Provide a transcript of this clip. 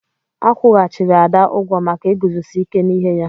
A kwụghachiri Ada ụgwọ maka iguzosi ike n'ihe ya.